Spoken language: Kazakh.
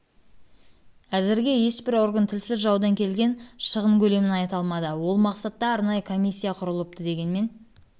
әзірге ешбір орган тілсіз жаудан келген шығын көлемін айта алмады ол мақсатта арнайы комиссия құрылыпты дегенмен